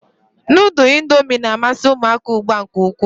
Nudul indomi na-amasi umuaka ugbua nke ukwu.